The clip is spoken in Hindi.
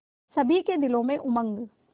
सभी के दिलों में उमंग